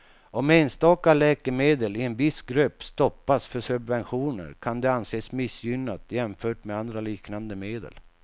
Om enstaka läkemedel i en viss grupp stoppas för subventioner kan det anses missgynnat jämfört med andra liknande medel.